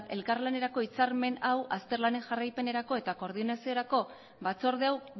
eta elkarlanerako hitzarmen hau azter lanen jarraipenerako eta koordinaziorako batzorde